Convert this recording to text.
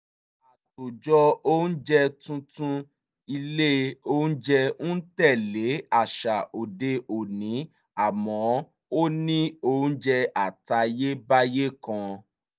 àtòjọ oúnjẹ tuntun ilé oúnjẹ ń tẹ̀lé àṣà òde òní àmọ́ ó ní oúnjẹ àtayébáyé kan